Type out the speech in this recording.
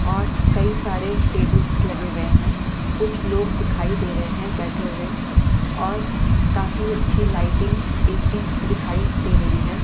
और कई सारे टेबल्स लगे हुए हैं कुछ लोग दिखाई दे रहे हैं बैठे हुए और काफी अच्छी लाइटिंग ए_सी दिखाई दे रही है।